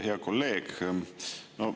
Hea kolleeg!